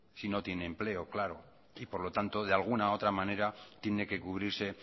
si no tiene empleo claro y por lo tanto de alguna otra manera tiene que cubrirse